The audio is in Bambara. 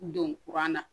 Don kuran na